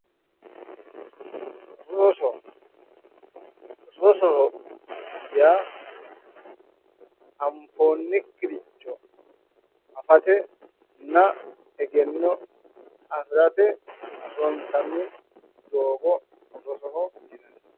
Rosoho. rosoho yaa anfonnikkiricho afatenna egenno afirate ronsanni doogo rosoho